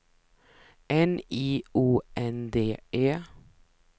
N I O N D E